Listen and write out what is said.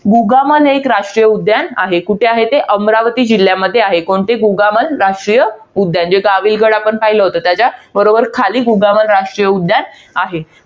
गुगामान हे एक राष्ट्रीय उद्यान आहे. कुठे आहे ते? अमरावती जिल्ह्यामध्ये आहे. कोणते? गुगामल राष्ट्रीय उद्यान. जो गाविलगड आपण पहिला होता, त्याच्या बरोबर खाली गुगामल राष्ट्रीय उद्यान आहे.